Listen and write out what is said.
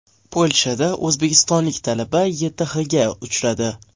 Polshada o‘zbekistonlik talaba YTHga uchradi.